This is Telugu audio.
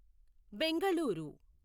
బెంగళూరు